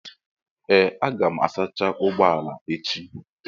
Ee m ga-asacha ụgbọ ala gị echi.